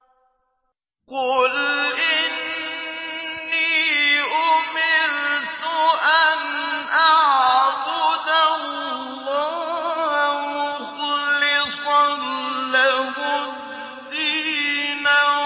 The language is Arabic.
قُلْ إِنِّي أُمِرْتُ أَنْ أَعْبُدَ اللَّهَ مُخْلِصًا لَّهُ الدِّينَ